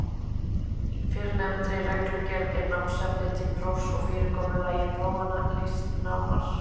Í fyrrnefndri reglugerð er námsefni til prófs og fyrirkomulagi prófanna lýst nánar.